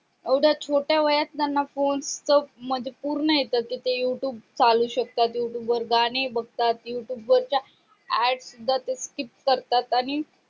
एवढ्या छोट्या वयात त्यांना phone म्हणजे पूर्ण येत त ते youtube चालू शकतात youtube वर गाणे बगतात youtube च्या add सूद्धा skip करतात आणि